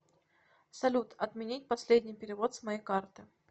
салют отменить последний перевод с моей карты